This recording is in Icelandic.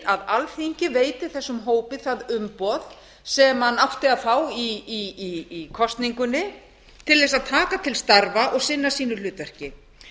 að alþingi veiti þessum hópi það umboð sem hann átti að fá í kosningunni til þess að taka til starfa og sinna sínu hlutverki